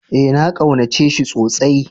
Ee, na kaunace shi tsosai.